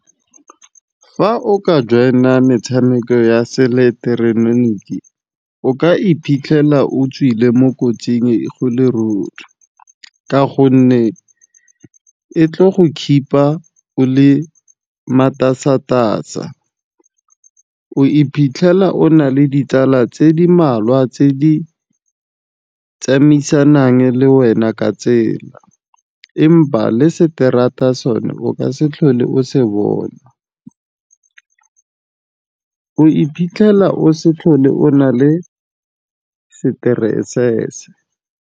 Fa o ka join-a metshameko ya se ileketeroniki o ka iphitlhela o tswile mo kotsing go le ruri. Ka gonne, e tlo go keep-a o le matasatasa, o iphitlhela o na le ditsala tse di malwa tse di tsamaisanang le wena ka tsela, empa le seterata sone o ka se tlhole o se bona. O iphitlhela o se tlhole o na le stress.